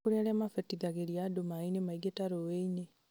nĩ kũrĩ aria mabatithagĩria andũ maĩ-inĩ maingĩ ta rũĩ-inĩ